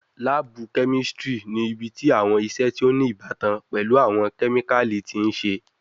Laabu kemistri ni ibiti awọn iṣe ti o ni ibatan pẹlu awọn kemikali ti n ṣe